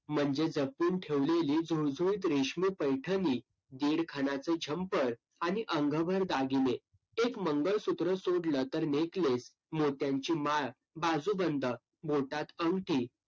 म्हणजे जपून ठेवलेली रेशमी पैठणी, दीड घणाचे झंपर आणि अंगावर दागिने एक मंगळसूत्र सोडलं तर neckless, मोत्यांची माळ, बाजूबंद, बोटात अंगठी